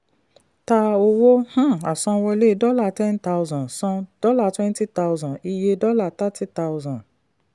ta owó um àsanwọlé dollar ten thousand san dollar twenty thousand; iye dollar thirty thousand.